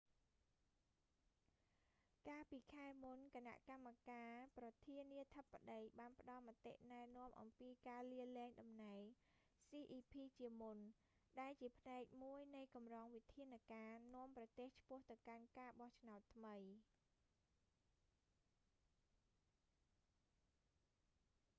កាលពីខែមុន គណៈកម្មាការប្រធានាធិបតីបានផ្តល់មតិណែនាំអំពីការលាលែងតំណែង cep ជាមុន ដែលជាផ្នែកមួយនៃកម្រងវិធានការ នាំប្រទេសឆ្ពោះទៅកាន់ការបោះឆ្នោតថ្មី